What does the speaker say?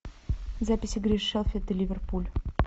запись игры шеффилд и ливерпуль